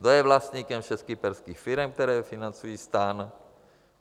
Kdo je vlastníkem všech kyperských firem, které financují STAN.